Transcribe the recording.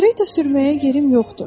Kareta sürməyə yerim yoxdur.